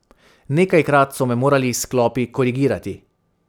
Nekajkrat so me morali s klopi korigirati.